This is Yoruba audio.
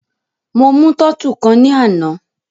Mo mú tọ́tù kan ní àná.